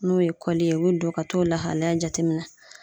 N'o ye kɔli ye o be don ka t'o lahalaya jateminɛ.